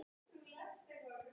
Ég er birki.